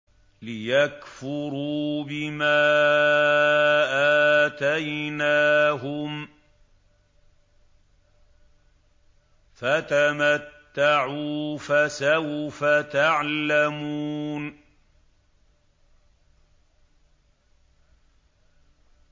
لِيَكْفُرُوا بِمَا آتَيْنَاهُمْ ۚ فَتَمَتَّعُوا فَسَوْفَ تَعْلَمُونَ